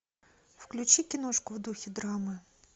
включи киношку в духе драмы